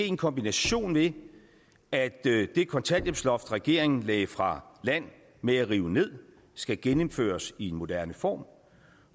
en kombination af at det kontanthjælpsloft regeringen lagde fra land med at rive ned skal genindføres i en moderne form